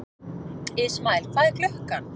Ismael, hvað er klukkan?